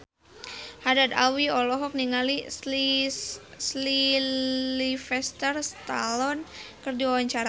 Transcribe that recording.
Haddad Alwi olohok ningali Sylvester Stallone keur diwawancara